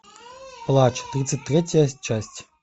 плач тридцать третья часть